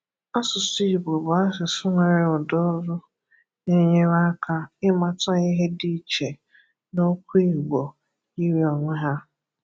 Asụsụ Igbo bụ asụsụ nwere ụdaolu na-enyere aka ịmata ihe di iche N'okwụ igbo yiri onwe ha